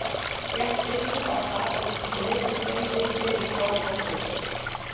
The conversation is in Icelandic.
Gekk biskup á hlað út og virti Svein fyrir sér í krók og kring.